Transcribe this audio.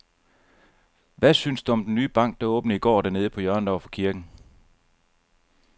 Hvad synes du om den nye bank, der åbnede i går dernede på hjørnet over for kirken?